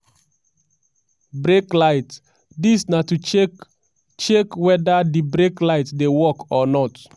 brake light: dis na to check check weda di brake light dey work or not.